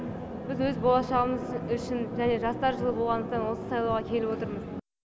біз өз болашағымыз үшін және жастар жылы болғандықтан осы сайлауға келіп отырмыз